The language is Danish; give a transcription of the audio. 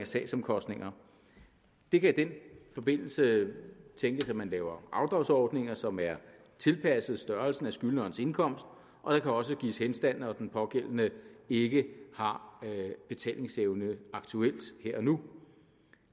sagsomkostninger det kan i den forbindelse tænkes at man laver afdragsordninger som er tilpasset størrelsen af skyldnerens indkomst og der kan også gives henstand når den pågældende ikke har betalingsevne aktuelt her og nu